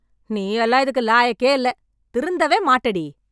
நீயெல்லாம் இதுக்கு லாயக்கேயில்ல... திருந்தவே மாட்டடி.